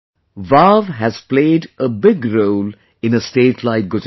Vav has played a big role in a state like Gujarat